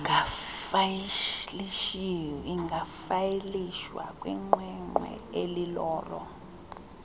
ingafayilishwa kwiqweqwe elilolo